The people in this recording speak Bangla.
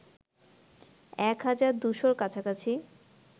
এক হাজার দুশোর কাছাকাছি